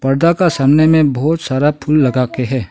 पर्दा के सामने में बहुत सारा फुल लगा के है।